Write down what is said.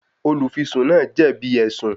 Olùfisùn náà jẹ̀bi ẹ̀sùn